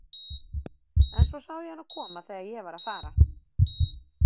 En svo sá ég hana koma þegar ég var að fara.